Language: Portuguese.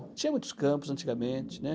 Tinha muitos campos antigamente, né.